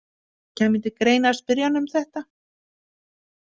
Kæmi til greina að spyrja hana um þetta?